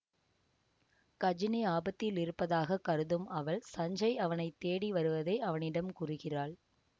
கஜினி ஆபத்தில் இருப்பதாக கருதும் அவள் சஞ்சய் அவனை தேடி வருவதை அவனிடம் கூறுகிறாள்